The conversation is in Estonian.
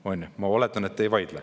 Ma oletan, et te sellele vastu ei vaidle.